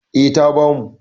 E, ta bamu.